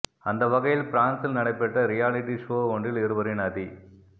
அந்த வகையில் பிரான்சில் நடைபெற்ற ரியாலிட்டி ஷோ ஒன்றில் இருவரின் அதி